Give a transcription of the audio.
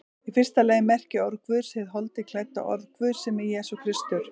Í fyrsta lagi merkir orð Guðs hið holdi klædda orð Guðs, sem er Jesús Kristur.